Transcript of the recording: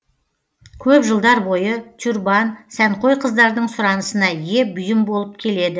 көп жылдар бойы тюрбан сәнқой қыздардың сұранысына ие бұйым болып келеді